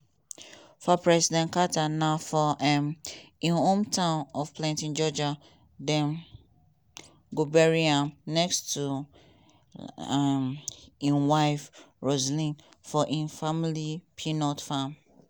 for president carter na for um im hometown of plains georgia dem go bury am next to um im wife rosalynn for im family peanut farm.